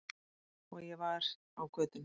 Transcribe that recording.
Og ég var á götunni.